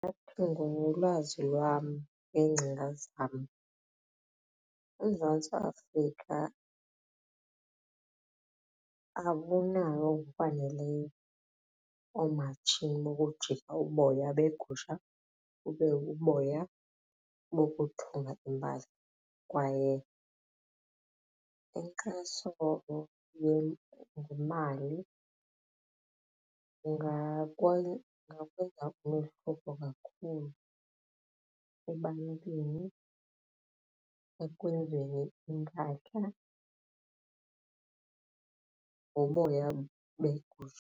Ndingathi ngolwazi lwam neengcinga zam uMzantsi Afrika awunayo ngokwaneleyo oomatshini bokujika uboya beegusha bube buboya bokuthunga impahla kwaye inkxaso ngemali ingakwenza umahluko kakhulu ebantwini ekwenzeni iimpahla ngoboya begusha.